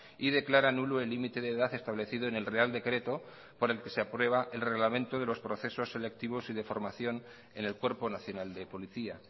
y declara nulo el límite de edad establecido en el real decreto por el que se aprueba el reglamento de los procesos selectivos y de formación en el cuerpo nacional de policía